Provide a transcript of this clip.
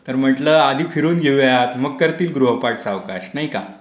तर म्हंटलं आधी फिरून घेऊया. मग करतील गृहपाठ सावकाश. नाही का?